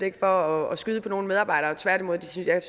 ikke for at skyde på nogle medarbejdere tværtimod synes jeg